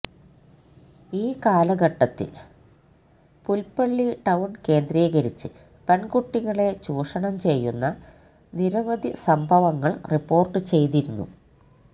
ഈകാലഘട്ടത്തില് Pulpally town കേന്ദ്രീകരിച്ച് പെണ്കുട്ടികളെ ചൂഷണം ചെയ്യുന്ന നിരവധി സംഭവങ്ങള് റിപ്പോര്ട്ട് ചെയ്തിരുന്നു